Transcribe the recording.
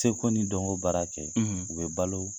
Seko ni dɔnko baara kɛ u bɛ balo